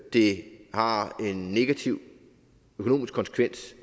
det har en negativ økonomisk konsekvens